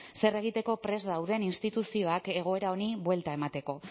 zer egiteko prest dauden instituzioak egoera honi buelta emateko